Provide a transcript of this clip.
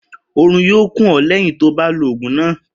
Orun yóò kùn ó léyìn tó o bá lo ògùn náà